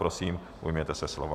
Prosím, ujměte se slova.